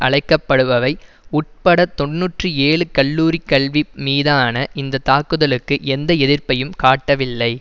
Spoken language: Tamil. அழைக்கப்படுபவை உட்பட தொன்னூற்றி ஏழு கல்லூரி கல்வி மீதான இந்த தாக்குதலுக்கு எந்த எதிர்ப்பையும் காட்டவில்லை